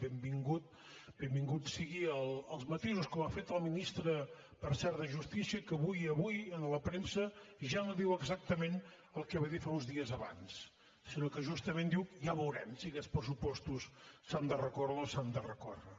benvinguts siguin els matisos com ha fet el ministre per cert de justícia que avui a la premsa ja no diu exactament el que va dir fa uns dies abans sinó que justament diu ja veurem si aquests pressupostos s’han de recórrer o no s’han de recórrer